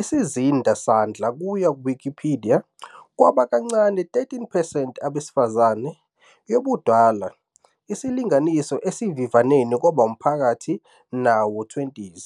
isizinda sandla kuya Wikipedia "kwaba kancane 13 percent abesifazane, yobudala isilinganiso esivivaneni kwaba maphakathi nawo-20s".